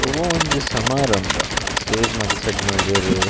ಒವಾ ಒಂಜಿ ಸಮಾರಂಬ ಸ್ಟೇಜ್ ಮಾತ ಸೆಟ್ಟ್ ಮಲ್ದೆರ್.